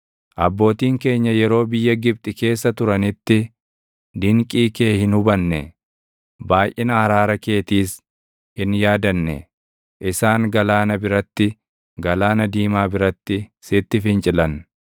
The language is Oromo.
Abbootiin keenya yeroo biyya Gibxi keessa turanitti, dinqii kee hin hubanne; baayʼina araara keetiis hin yaadanne; isaan galaana biratti, Galaana Diimaa biratti sitti fincilan.